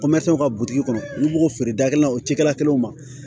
Kɔmɛrɛnw ka butigi kɔnɔ olu b'o feere da kelen na o cikɛla kelenw ma